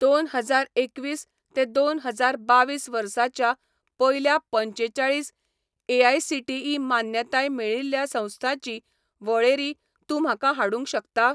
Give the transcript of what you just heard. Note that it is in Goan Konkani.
दोन हजार एकवीस ते दोन हजार बावीस वर्साच्या पयल्या पंचेचाळीस एआयसीटीई मान्यताय मेळिल्ल्या संस्थांची वळेरी तूं म्हाका हाडूंक शकता?